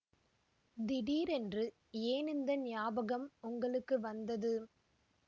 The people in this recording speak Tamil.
திடீரென்று ஏன் இந்த ஞாபகம் உங்களுக்கு வந்தது